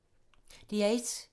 DR1